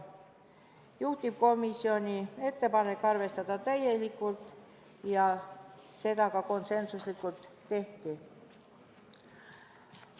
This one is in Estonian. Juhtivkomisjoni ettepanek oli arvestada seda muudatusettepanekut täielikult ja seda ka konsensuslikult tehti.